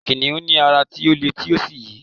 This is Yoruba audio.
kìnìún ní ara ti o le ti o sí yi